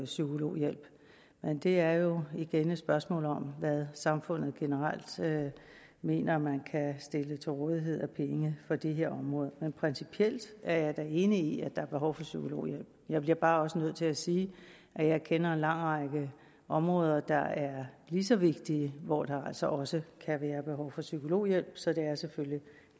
psykologhjælp men det er jo igen et spørgsmål om hvad samfundet generelt mener man kan stille til rådighed af penge på det her område men principielt er jeg da enig i at der er behov for psykologhjælp jeg bliver bare også nødt til at sige at jeg kender en lang række områder der er lige så vigtige hvor der altså også kan være behov for psykologhjælp så det er selvfølgelig